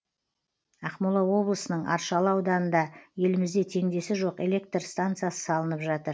ақмола облысының аршалы ауданында елімізде теңдесі жоқ жел электр станциясы салынып жатыр